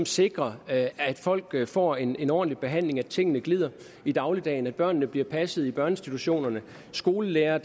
sikrer at folk får en en ordentlig behandling og tingene glider i dagligdagen børnene bliver passet i børneinstitutionerne og skolelærere